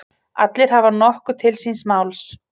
Allir hafa nokkuð til síns máls.